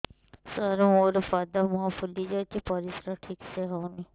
ସାର ମୋରୋ ପାଦ ମୁହଁ ଫୁଲିଯାଉଛି ପରିଶ୍ରା ଠିକ ସେ ହଉନି